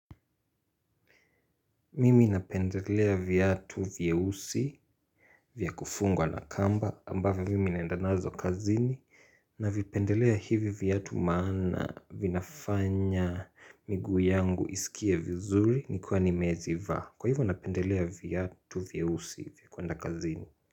Mimi napendelea viatu vyeusi vya kufungwa na kamba ambavyo mimi naenda nazo kazini na vipendelea hivyo viatu maana vinafanya miguu yangu iskie vizuri nikiwa nimeziva kwa hivyo napendelea viatu vyeusi vya kuenda kazini.